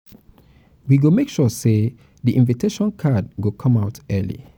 we go make sure sey di invitation card go come out early.